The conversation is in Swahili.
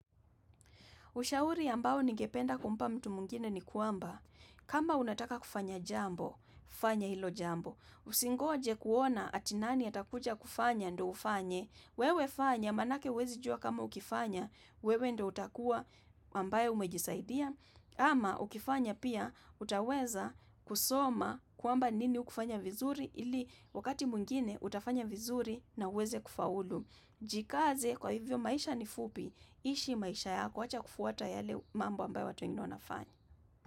Ushauri ambao ningependa kumpa mtu mwingine ni kwamba, kama unataka kufanya jambo, fanya hilo jambo. Usingoje kuona ati nani atakuja kufanya ndo ufanye, wewe fanya, maanake huwezijuwa kama ukifanya, wewe ndio utakua ambaye umejisaidia. Ama ukifanya pia, utaweza kusoma kwamba nini hukufanya vizuri, ili wakati mwingine utafanya vizuri na uweze kufaulu. Jikaze kwa hivyo maisha ni fupi, ishi maisha yako wacha kufuata yale mambo ambayo watu wengine wanafanya.